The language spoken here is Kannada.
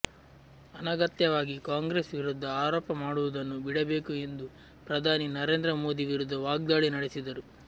ಅನಗತ್ಯವಾಗಿ ಕಾಂಗ್ರೆಸ್ ವಿರುದ್ಧ ಆರೋಪ ಮಾಡುವುದನ್ನು ಬಿಡಬೇಕು ಎಂದು ಪ್ರಧಾನಿ ನರೇಂದ್ರ ಮೋದಿ ವಿರುದ್ಧ ವಾಗ್ದಾಳಿ ನಡೆಸಿದರು